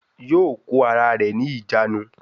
Yóò kó ara rẹ̀ ní ìjánu